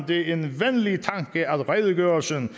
det en venlig tanke at redegørelsen